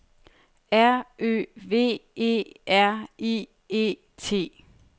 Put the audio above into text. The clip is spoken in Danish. R Ø V E R I E T